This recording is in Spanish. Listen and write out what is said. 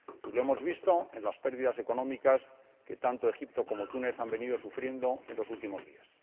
Y lo hemos visto en las pérdidas económicas que tanto Egipto como Túnez han venido sufriendo en los últimos días.